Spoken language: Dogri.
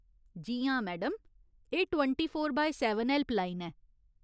जी हां, मैडम, एह् twenty four by seven helpline ऐ।